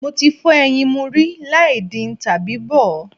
Mo ti fọ́ ẹyin mu rí láì din tàbí bọ̀ ọ́.